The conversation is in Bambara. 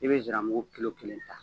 I bɛ nsira mugu kilo kelen ta